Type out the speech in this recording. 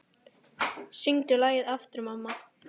Syngdu lagið aftur, mamma